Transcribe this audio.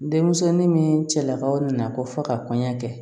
Denmisɛnnin ni cɛlakaw nana ko fɔ ka kɔɲɔ kɛ